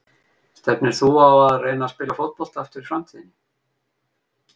Stefnir þú á að reyna að spila fótbolta aftur í framtíðinni?